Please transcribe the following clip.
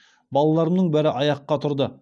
балаларымның бәрі аяққа тұрды